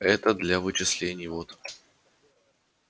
это для вычислений вот